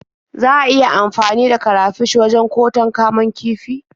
Za a iya amfani da karafish wajen ƙoton kamun kifi.